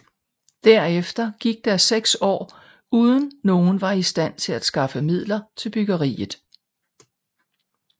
Derefter gik der 6 år uden nogen var i stand til at skaffe midler til byggeriet